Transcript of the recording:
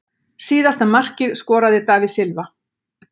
Síðasta markið skoraði David Silva.